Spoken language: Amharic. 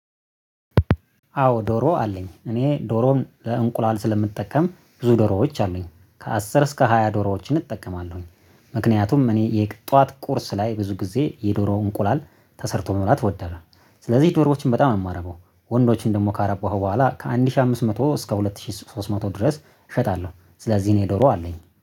አዎ ዶሮ አለኝ እኔ ዶሮን ለእንቁላል ስለምጠቀም ብዙ ዶሮዎች አሉኝ ከአስር እስከ ሃያ ዶሮዎች እጠቀማለሁኝ። ምክንያቱም እኔ የጧት ቁርስ ላይ ብዙ ጊዜ የዶሮ እንቁላል ተሰርቶ መብላት እወዳለሁ። ስለዚህ ዶሮዎችን በጣም የማረበው ወንዶችን ደግሞ ካረባው በኋላ ከአንድ ሺህ አምስት መቶ እስከ ሁለት ሺህ ሶስት መቶ ድረስ እሸጣለሁ። ስለዚህ እኔ ዶሮ አለኝ